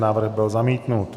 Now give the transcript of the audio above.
Návrh byl zamítnut.